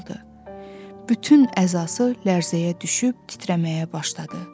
Bütün əzası lərzəyə düşüb titrəməyə başladı.